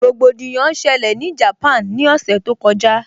Rògbòdìyàn ṣẹlẹ̀ ní Japan ní ọ̀sẹ̀ tó kọjá